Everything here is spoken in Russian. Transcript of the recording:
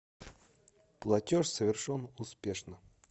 платеж совершен успешно